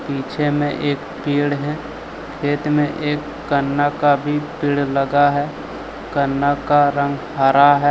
पीछे में एक पेड़ है खेत में एक गन्ना का भी पेड़ लगा है गन्ना का रंग हरा है।